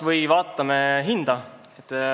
Vaatame kas või hinda.